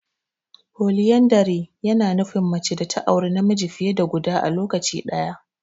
Poliyandari ya na nufin mace ta auri namiji fiye da guda a lokaci ɗaya.